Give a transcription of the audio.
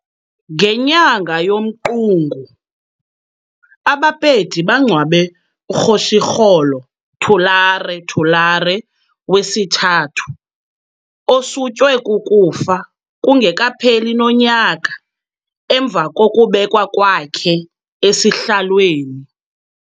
Ngenyanga yoMqungu, aBapedi bangcwabe uKgoshikgolo Thulare Thulare III, osutywe kukufa kungekapheli nonyaka emva kokubekwa kwakhe esihlalweni.